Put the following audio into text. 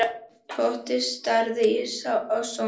Tóti starði á Sonju.